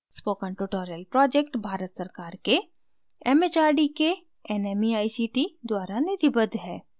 spoken tutorial project Bharat सरकार के mhrd के nmeict द्वारा निधिबद्ध है